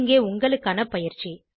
இங்கே உங்களுக்கான பயிற்சி